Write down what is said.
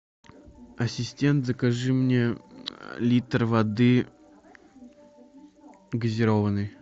ассистент закажи мне литр воды газированной